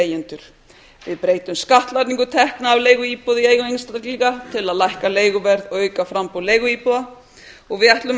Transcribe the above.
við leigjendur við breytum skattlagningu tekna á leiguíbúð í eigu einstaklinga til að lækka leiguverð og auka framboð leiguíbúða og við ætlum að